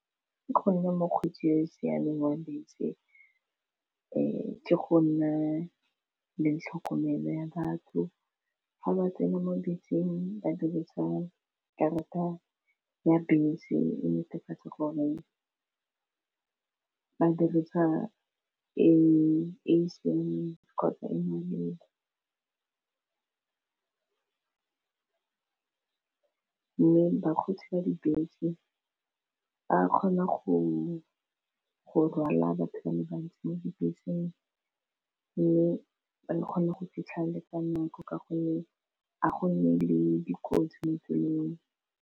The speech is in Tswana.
Ka gonne mokgweetsi yo siameng wa bese ke go nne le tlhokomelo ya batho ga ba tsena mo beseng ba dirisa karata ya bese e netefatsa gore ba dirisa e seng kgotsa e maleba mme bakgweetsi ba dibese ba kgona go rwala batho ba le bantsi mo dibeseng mme re kgone go fitlhelela nako ka gonne ga go nne le dikotsi mo tseleng.